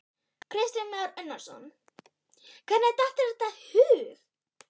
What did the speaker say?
Kristján Már Unnarsson: Hvernig datt þér þetta í hug?